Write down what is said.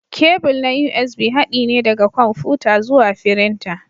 Kebul na USB haɗi ne daga kwamfuta zuwa firinta.